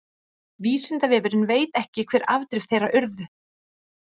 vísindavefurinn veit ekki hver afdrif þeirra urðu